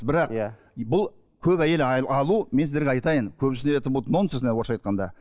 бірақ иә бұл көп әйел алу мен сіздерге айтайын көбісіне это будет нонсенс орысша айтқанда